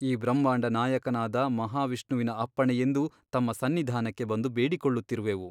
ಈ ಬ್ರಹ್ಮಾಂಡ ನಾಯಕನಾದ ಮಹಾವಿಷ್ಣುವಿನ ಅಪ್ಪಣೆಯೆಂದು ತಮ್ಮ ಸನ್ನಿಧಾನಕ್ಕೆ ಬಂದು ಬೇಡಿಕೊಳ್ಳುತ್ತಿರುವೆವು.